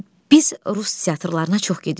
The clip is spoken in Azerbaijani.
Biz rus teatrlarına çox gedirik.